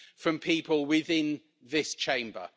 from people within this Chamber?